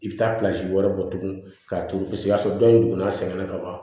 I bɛ taa wɛrɛ bɔ tugun ka turu paseke o y'a sɔrɔ dɔ in dugun a sɛgɛnna ka ban